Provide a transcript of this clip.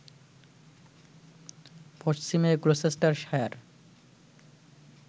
পশ্চিমে গ্লোসেস্টারশায়ার